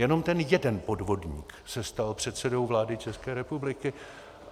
Jenom ten jeden podvodník se stal předsedou vlády České republiky.